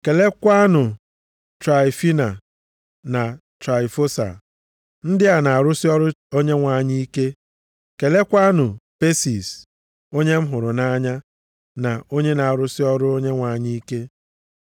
Keleekwanụ Traịfina na Traịfosa ndị a na-arụsị ọrụ Onyenwe anyị ike. Keleekwanụ Pesis, onye m hụrụ nʼanya na onye na-arụsị ọrụ Onyenwe anyị ike.